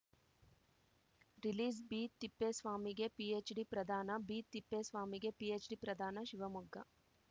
release B ತಿಪ್ಪೇಸ್ವಾಮಿಗೆ PhD ಪ್ರದಾನ B ತಿಪ್ಪೇಸ್ವಾಮಿಗೆ ಪಿಎಚ್‌ಡಿ ಪ್ರದಾನ ಶಿವಮೊಗ್ಗ